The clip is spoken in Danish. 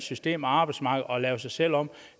system og arbejdsmarked og lave sig selv om